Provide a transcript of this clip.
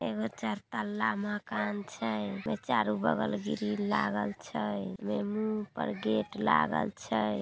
यहाँ चार तल्ला मकान छै चारो बगल ग्रील लागल छै एमे मुंह पर गेट लागल छै।